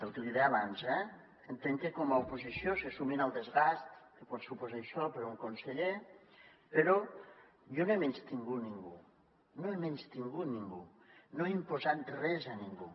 el que li deia abans eh entenc que com a oposició se sumin al desgast que pot suposar això per a un conseller però jo no he menystingut ningú no he menystingut ningú no he imposat res a ningú